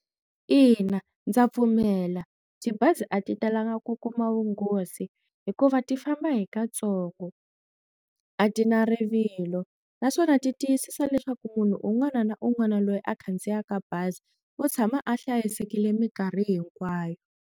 Ina, ndza pfumela tibazi a ti talanga ku kuma vunghozi hikuva ti famba hi katsongo a ti na rivilo naswona ti tiyisisa leswaku munhu un'wana na un'wana loyi a khandziyaka bazi u tshama a hlayisekile minkarhi hinkwayo.